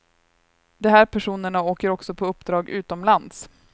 De här personerna åker också på uppdrag utomlands.